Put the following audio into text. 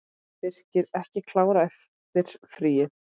Birkir ekki klár eftir fríið?